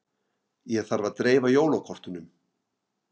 Ég þarf að dreifa jólakortunum.